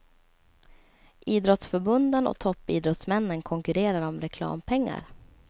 Idrottsförbunden och toppidrottsmännen konkurrerar om reklampengar.